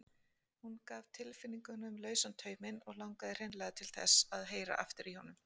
Hún gaf tilfinningunum lausan tauminn og langaði hreinlega til þess að heyra aftur í honum.